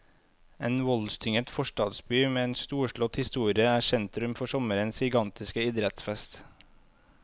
En voldstynget forstadsby med en storslått historie er sentrum for sommerens gigantiske idrettsfest.